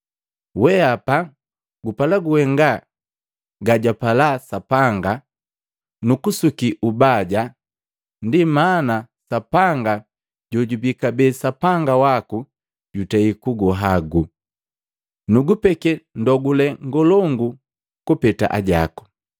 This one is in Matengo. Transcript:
Weapa gupala kuhenga gajwagapala Sapanga nukusuki ubaja. Ndi mana Sapanga, jojubi kabee Sapanga waku jutei kuguhagu, nukugupeke ndogule ngolongu kupeta ajaku.”